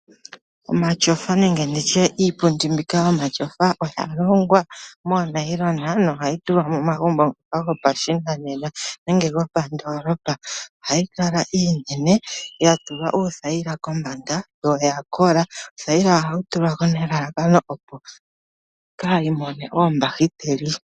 Omatyofa oga longwa moonayilona nohayi tulwa momagumbo ngoka gopashinanena nenge gopandoolopa, ohayi kala iinene yatulwa uuthayila kombanda yo oyakola, othayila ohayi tulwa ko nelalakano iipundi kaayi mone oombahiteli.